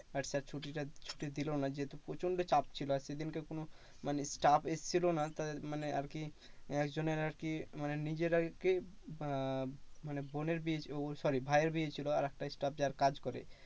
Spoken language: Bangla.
আর sir ছুটিটা দিলো না যেহেতু প্রচন্ড চাপ ছিল। আর সেদিনকে কোনো মানে stuff এসছিলোনা তাদের মানে আরকি একজনের আরকি মানে নিজের আরকি আহ মানে বোনের বিয়ে ও sorry ভাইয়ের বিয়ে ছিল, আরেকটা stuff যার কাজ করে